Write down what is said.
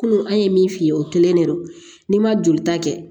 Kunun an ye min f'i ye o kelen de don n'i ma jolita kɛ